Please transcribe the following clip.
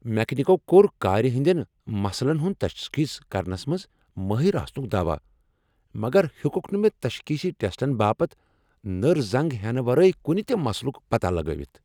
میکینکو کوٚر كارِ ہندین مسلن ہُند تشخیص کرنس منٛز ماہر آسنک دعوا مگر ہیوكُكھ نہٕ مےٚ'تشخیصی ٹیسٹن' باپتھ نٕر زنگ ہینہٕ ورٲے کُنہ تہِ مشلُك پتاہ لگٲوِتھ ۔